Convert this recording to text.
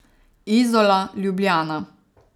Izola, Ljubljana.